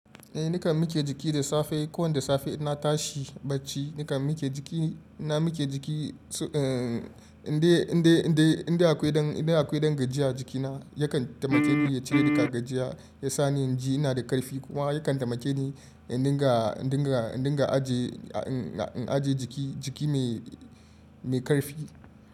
Eh nakan mike jiki da safe. Ko wanda safe ina tashi bacci nakan mike jiki. Ina mike jiki su-- eh, in dai, in dai, in dai, in dai akwai ɗan, in dai akwai ɗan gajiya jikina yakan taimake ni ya cire daga gajiya, ya sa ni in ji ina da ƙarfi kuma yakan taimake ni in dinga, in dinga, in dinga aje, in, in aje jiki, jiki mai, mai ƙarfi.